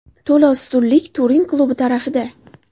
To‘la ustunlik Turin klubi tarafida.